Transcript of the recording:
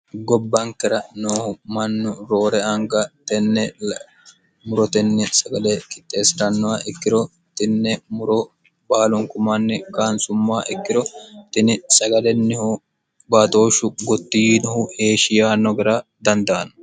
gobbankera noohu mannu roore anga tennemurotenni sagale kitteessi'rannowa ikkiro tinne muro baalunku manni kaansummaa ikkiro tini sagalennihu baaxooshshu gottiinohu heeshiyaa nogera dandaanno